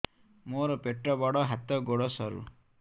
ମୋର ପେଟ ବଡ ହାତ ଗୋଡ ସରୁ